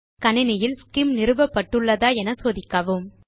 கணினியில் ஸ்சிம் நிறுவப்பட்டுள்ளதா என சோதிக்கவும்